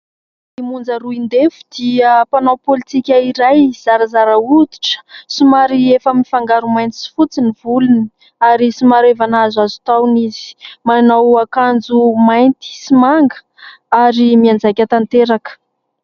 Monja Roindefo dia mpanao politika iray zarazara hoditra : somary efa mifangaro mainty sy fotsy ny volony ary somary efa nahazoazo taona izy, manao akanjo mainty sy manga ary mianjaika tanteraka.